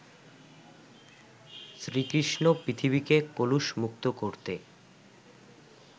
শ্রীকৃষ্ণ পৃথিবীকে কলুষমুক্ত করতে